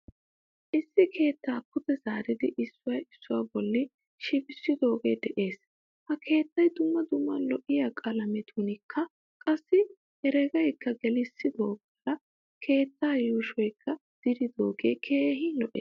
Issi keettaa pude zaaridi issuwaa issuwaa bolli shibbisidoge de'ees. Ha keettay dumma dumma lo'iyaaqalamiyankka qassi heregakka gelisogaara keettaa yuushuwakka diridoge keehin lo'ees.